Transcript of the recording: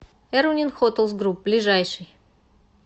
эрунин хотелс груп ближайший